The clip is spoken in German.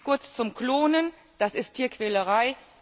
Kurz zum Klonen Das ist Tierquälerei.